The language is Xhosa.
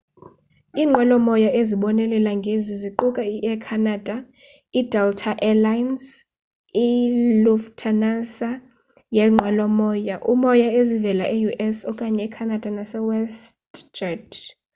iinqwelo-moya ezibonelela ngezi ziquka i-air canada i-delta air lines i-lufthansa yeenqwelo-moya ezivela e-us okanye canada nase westjet